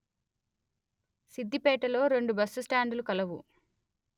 సిద్ధిపేటలో రెండు బస్సు స్టాండులు కలవు